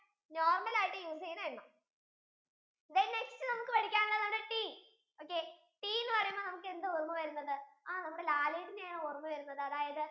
normal ആയിട്ട് use ചെയുന്ന എണ്ണ then next നമുക്ക് പഠിക്കാൻ ഉള്ളതാണ് teaokay tea എന്ന് പറയുമ്പോൾ നമുക്ക് എന്താ ഓർമ വരുന്നത് ആഹ് നമ്മുടെ ലാലേട്ടനെ ആണ് ഓർമ വരുന്നത്